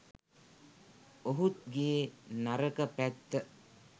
ඔහුගේ නරක පැත්ත